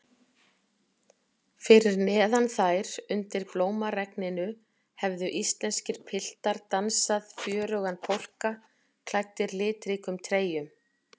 Fyrir neðan þær, undir blómaregninu, hefðu íslenskir piltar dansað fjörugan polka, klæddir litríkum treyjum.